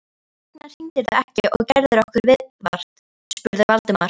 Hvers vegna hringdirðu ekki og gerðir okkur viðvart? spurði Valdimar.